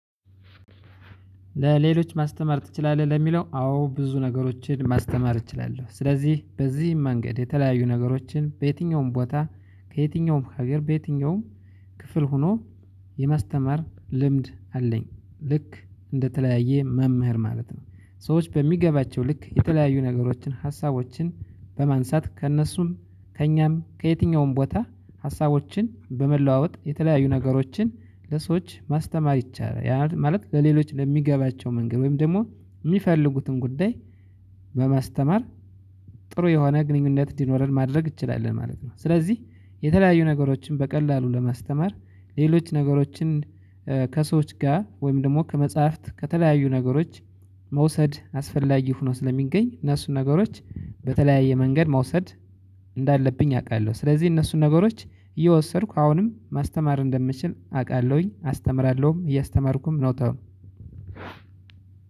ለሌሎች ማስተማር ትችላለህ ለሚለው አዎ ብዙ ነገሮችን ማስተማር እችላለሁ ስለዚህ በዚህም መንገድ የተለያዩ ነገሮችን በየትኛውም ቦታ ከየትኛውም ሀገር በየትኛውም ክፍል ሆኖ የማስተማር ልምድ አለኝ ልክ እንደተለያየ መምህር ማለት ነው። ሰዎች በሚገባቸው ልክ የተለያዩ ነገሮችን ሀሳቦችን በማንሳት ከእነሱም ከእኛም ከየትኛውም ቦታ ሀሳቦችን በመለዋወጥ የተለያዩ ነገሮችን ለሰዎች ማስተማር ይቻላል። ያም ማለት ለሌሎች በሚገባቸው መንገድ ወይም ደግሞ የሚፈልጉትን ጉዳይ በማስተማር ጥሩ የሆነ ግንኙነት እንዲኖረን ማድረግ እንችላለን ማለት ነው። ስለዚህ የተለያዩ ነገሮችን በቀላሉ ለማስተማር ሌሎች ነገሮችን ከሰዎች ጋር ወይም ደግሞ ከመጽሐፍት ከተለያዩ ነገሮች መውሰድ አስፈላጊ ሆኖ ስለሚገኝ እነሱን ነገሮች በተለያየ መንገድ መውሰድ እንዳለብኝ አውቃለሁ። ስለዚህ እነሱን ነገሮች እየወሰድኩ አሁንም ማስተማር እንደምችል አውቃለሁኝ አስተምራለሁም እያስተማርኩም ምወጣው።